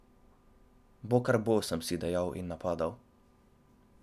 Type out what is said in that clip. Bo, kar bo, sem si dejal in napadal.